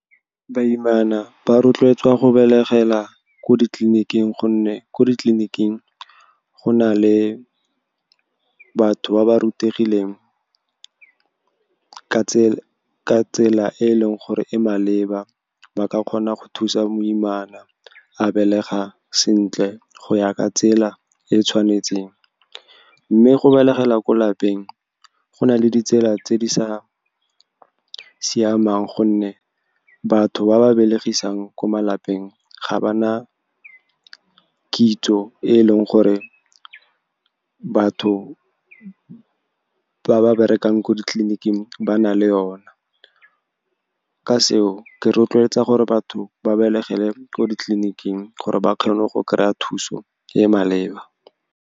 Baimana ba rotloetswa go belegela ko ditleliniking, gonne ko ditleliniking go na le batho ba ba rutegileng ka tsela e e leng gore e maleba. Ba ka kgona go thusa moimana a belega sentle, go ya ka tsela e e tshwanetseng. Mme go belegela ko lapeng go nale ditsela tse di sa siamang, gonne batho ba ba belegisang kwa malapeng ga ba na kitso e e leng gore batho ba ba berekang ko ditleliniking ba na le yona. Ka seo, ke rotloetsa gore batho ba belegele ko ditleliniking gore ba kgone go kry-a thuso e e maleba.